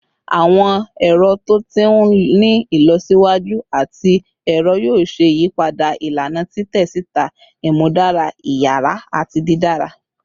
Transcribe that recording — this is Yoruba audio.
Awọn ẹrọ to ti ni ilọsiwaju ati ẹrọ yoo ṣe iyipada ilana titẹ sita, imudara iyara ati didara